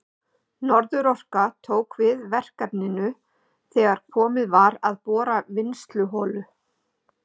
Norðurorka tók við verkefninu þegar komið var að borun vinnsluholu.